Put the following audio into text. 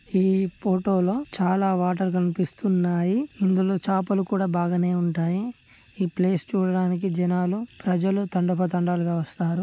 ఈ ఫోటో లో చాల వాటర్ కనిపిస్తున్నాయి ఇందులో చేపలు కూడా బాగానే ఉంటాయి ఈ ప్లేస్ చూడడానికి జనాలు ప్రజలు తండోపతండాలుగా వస్తారు.